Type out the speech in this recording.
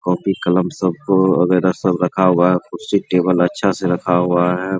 Copy कलम सबको वगैरा सब रखा हुआ है कुर्सी टेबल अच्छा से रखा हुआ है।